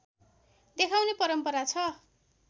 देखाउने परम्परा छ